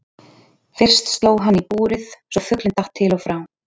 Fyrst sló hann í búrið svo fuglinn datt til og frá.